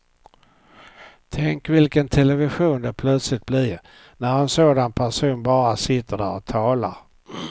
Tänk vilken television det plötsligt blir när en sådan person bara sitter där och talar.